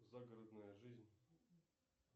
загородная жизнь